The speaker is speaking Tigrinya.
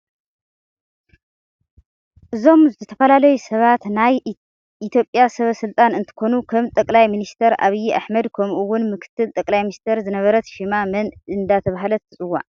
እዞም ዝተፋላለዩ ሰባት ናይ ኤትዮጵያ ሰብ ስልጣን እንትኮኑ ከም ጠቅላይ ምንስተር ኣብይ ኣሕመድ ከምኡ እውን ምክትል ጠቅላይ ሚንስተር ዝነበረት ሽማ መን እደተበሃለት ትፅዋዕ?